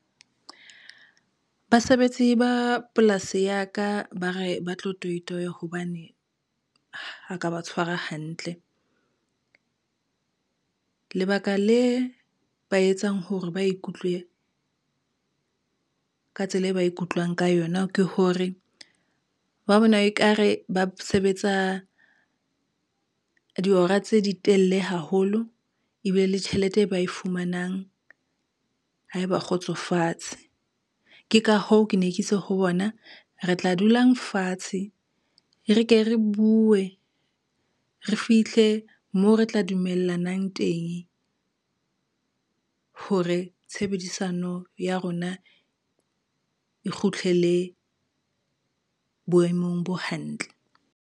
Basebetsi ba polasi ya ka, ba re ba tlo toitoiya hobane, ha ka ba tshwara hantle. Lebaka le ba etsang hore ba ikutlwe, ka tsela e ba ikutlwang ka yona ke hore, ba bona ekare ba sebetsa dihora tse ditelle haholo ebile le tjhelete e ba e fumanang ha e ba kgotsofatse. Ke ka hoo ke ne ke itse ho bona re tla dulang fatshe, re ke re buwe re fithle moo re tla dumellanang teng hore tshebedisano ya rona e kgutlele boemong bo hantle.